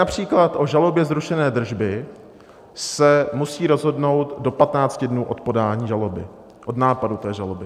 Například o žalobě zrušené držby se musí rozhodnout do 15 dnů od podání žaloby, od nápadu té žaloby.